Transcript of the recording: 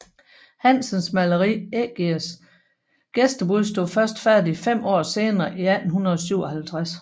Hansens maleri Ægirs Gæstebud stod først færdigt fem år senere i 1857